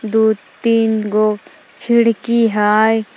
दु तीन गो खिड़की हय।